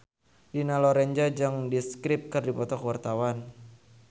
Dina Lorenza jeung The Script keur dipoto ku wartawan